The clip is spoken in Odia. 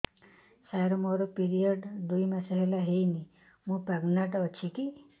ସାର ମୋର ପିରୀଅଡ଼ସ ଦୁଇ ମାସ ହେଲା ହେଇନି ମୁ ପ୍ରେଗନାଂଟ ଅଛି କି